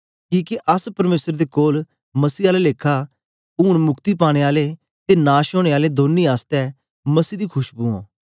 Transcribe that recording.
किके अस परमेसर दे कोल मसीह आला लेखा उनै मुक्ति पानें आले ते नाश ओनें आलें दौनी आसतै मसीह दी खशबु ओं